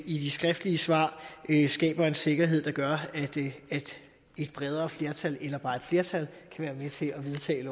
i de skriftlige svar skaber en sikkerhed der gør at et bredere flertal eller bare et flertal kan være med til at vedtage